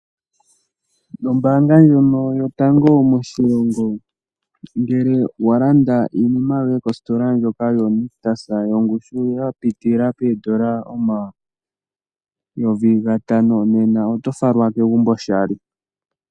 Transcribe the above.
Ombaanga ndjono yotango moshilongo ngele wa landa iinima yoye kositola ndjoka yoNictus yongushu ya piitilila poodola omayovi gatano nena oto falwa kegumbo oshali.